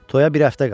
Toya bir həftə qalıb.